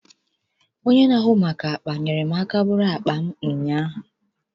Onye n'ahụ maka akpa nyere m aka bụrụ akpa m ụnyaahụ